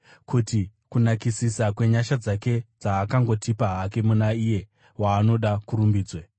kuti kunakisisa kwenyasha dzake dzaakangotipa hake muna Iye waanoda kurumbidzwe.